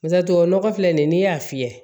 Paseke tubabu nɔgɔ filɛ nin ye n'i y'a fiyɛ